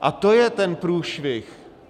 A to je ten průšvih.